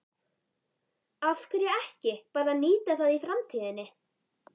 Af hverju ekki bara að nýta það í framtíðinni?